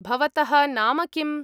भवतः नाम किम्?